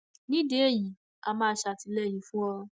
nídìí eléyìí á máa ṣàtìlẹyìn fún ọ